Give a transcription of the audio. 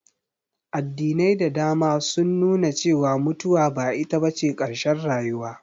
Addinai da dama sun nu na cewa mutuwa ba ita bace ƙarshen rayuwa